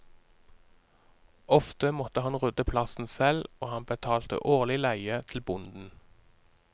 Ofte måtte han rydde plassen selv, og han betalte årlig leie til bonden.